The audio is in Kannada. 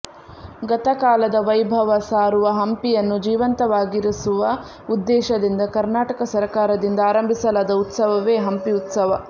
ಗತಕಾಲದ ವೈಭವ ಸಾರುವ ಹಂಪಿಯನ್ನು ಜೀವಂತವಾಗಿರಿಸುವ ಉದ್ದೇಶದಿಂದ ಕರ್ನಾಟಕ ಸರಕಾರದಿಂದ ಆರಂಭಿಸಲಾದ ಉತ್ಸವವೇ ಹಂಪಿ ಉತ್ಸವ